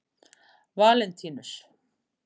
Valentínus